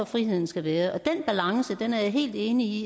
friheden skal være den balance er jeg helt enig i